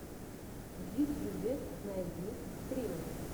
в ютьюбе найди стримы